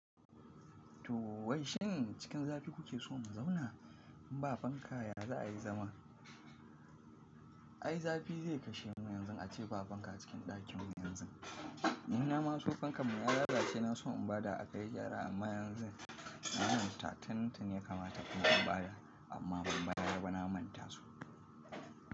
To wai shin cikin zafi kuke so mu zauna? In ba fanka ya za a yi zama. Ai zafi zai kashe mu yanzu ace ba fanka cikin ɗakinmu yanzu. Ni na ma so fankan mu ya lalace na so in ba da a kai gyara amma yanzu na manta tuntuni ya kamata in ba da amma ban bayar ba na manta su.